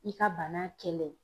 I ka bana kɛlɛ